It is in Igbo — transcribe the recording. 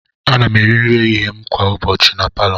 Ana m eri nri ehihie m na palọ kwa ụbọchị.